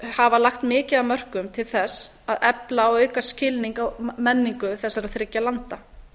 hafa lagt mikið af mörkum til þess að efla og auka skilning á menningu þessara þriggja landa